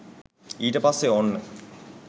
ඊට පස්සේ ඕන්න